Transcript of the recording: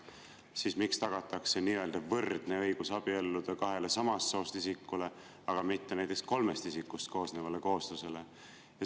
Miks siis tagatakse nii-öelda võrdne õigus abielluda kahele samast soost isikule, aga mitte näiteks kolmest isikust koosnevale kooslusele?